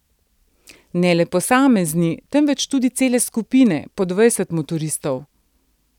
Ne le posamezni, temveč tudi cele skupine, po dvajset motoristov.